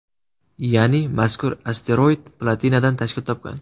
Ya’ni mazkur asteroid platinadan tashkil topgan.